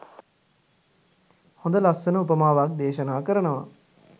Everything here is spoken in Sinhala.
හොඳ ලස්සන උපමාවක් දේශනා කරනවා.